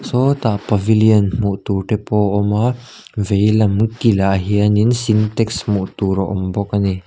sawtah pavilion hmuh tur te pawh awm a veilam kinah hian in sintex hmuh tur awm bawk a ni.